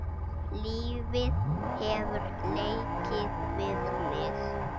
Lífið hefur leikið við mig.